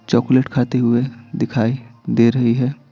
Chocolate खाते हुए दिखाई दे रही है।